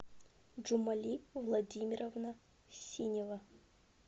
джумали владимировна синева